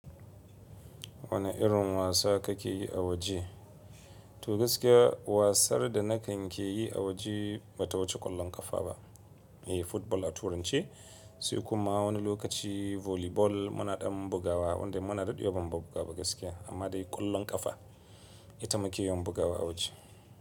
Wane irin wasa kake yi a waje? To gaskiya wasar da na kan ke yi a waje ba ta wuce ƙwallon ƙafa ba ne, football a turanci. Sai kuma wani lokaci volleyball muna ɗan bugawa, wanda muna daɗi yawan bugawa gaskiya. Amma dai ƙwallon ƙafa ita muke yawan bugawa a waje.